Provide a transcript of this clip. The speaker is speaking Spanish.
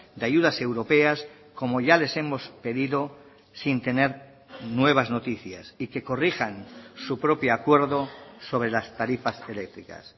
de ayudas europeas como ya les hemos pedido sin tener nuevas noticias y que corrijan su propio acuerdo sobre las tarifas eléctricas